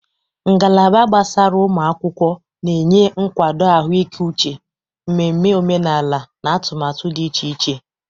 Ngalaba gbasara ụmụ akwụkwọ na-enye nkwado ahụike uche, mmemme omenala, na atụmatụ dị iche iche.